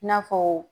I n'a fɔ